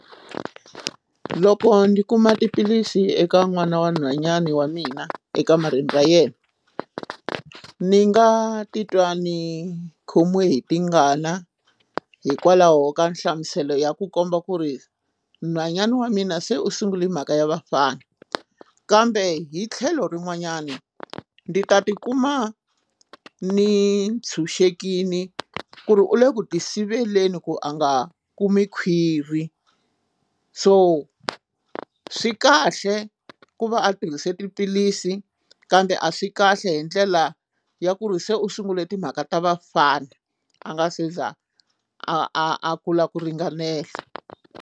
Loko ni kuma tiphilisi eka n'wana wa nhwanyana wa mina ekamareni ra yena ni nga titwa ni khomiwe hi tingana hikwalaho ka nhlamuselo ya ku komba ku ri nhwanyana wa mina se u sungule mhaka ya vafana kambe hi tlhelo rin'wanyana ndzi ta tikuma ni tshunxekile ku ri u le ku ti siveleni ku a nga kumi khwiri so swi kahle ku va a tirhise tiphilisi kambe a swi kahle hi ndlela ya ku ri se u sungule timhaka ta vafana a nga se za a a a kula ku ringanela.